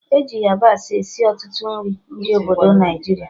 E ji yabasị esi ọtụtụ nri ndị obodo Naijiria